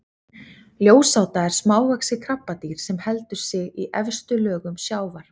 ljósáta er smávaxið krabbadýr sem heldur sig í efstu lögum sjávar